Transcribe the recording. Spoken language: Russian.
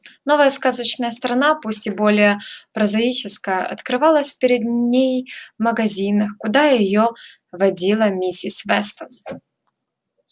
новая сказочная страна пусть и более прозаическая открывалась перед ней в магазинах куда её водила миссис вестон